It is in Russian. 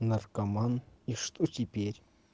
наркоман и что теперь